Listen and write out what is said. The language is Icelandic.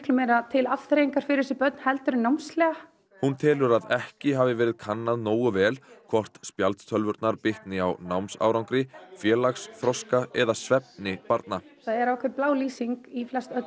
meira til afþreyingar fyrir þessi börn en námslega hún telur að ekki hafi verið kannað nógu vel hvort spjaldtölvurnar bitni á námsárangri félagsþroska eða svefni barna það er ákveðin blá lýsing í